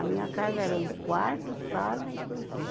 A minha casa era um quarto, sala e cozinha.